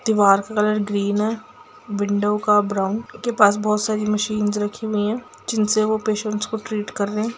दीवार का colour green है विंडो का ब्राउन उसके पास बहुत-सी मशीन्स रखी हुई हैं जिनसे वो पेशेंट को ट्रीट कर रहे है।